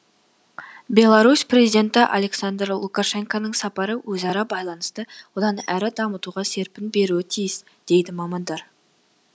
беларусь президенті александр лукашенконың сапары өзара байланысты одан әрі дамытуға серпін беруі тиіс дейді мамандар